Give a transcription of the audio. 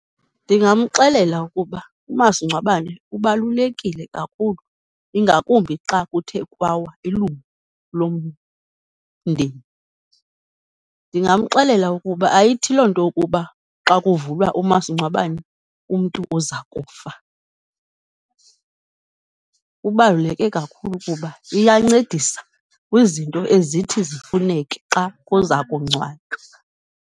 Ndingamxelela ukuba umasingcwabane ubalulekile kakhulu, ingakumbi xa kuthe kwawa ilungu lomndeni. Ndingamxelela ukuba ayithi loo nto ukuba xa kuvulwa umasingcwabane, umntu uza nkufa. Ubaluleke kakhulu kuba iyancedisa kwizinto ezithi zifuneke xa kuza kungcwatywa.